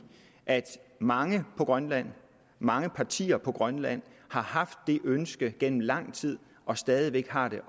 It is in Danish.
at mange på grønland mange partier på grønland har haft det ønske gennem lang tid og stadig væk har det